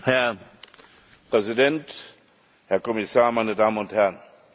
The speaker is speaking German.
Herr Präsident, Herr Kommissar, meine Damen und Herren!